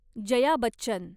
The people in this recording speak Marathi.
जया बच्चन